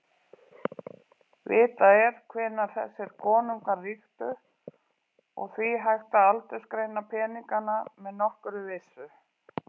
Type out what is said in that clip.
Vitað er hvenær þessir konungar ríktu og því hægt að aldursgreina peningana með nokkurri vissu.